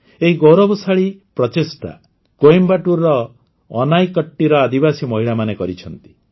ଏହି ଗୌରବଶାଳୀ ପ୍ରଚେଷ୍ଟା କୋଏମ୍ବାଟୁର ଅନାଇକଟ୍ଟିର ଆଦିବାସୀ ମହିଳାମାନେ କରିଛନ୍ତି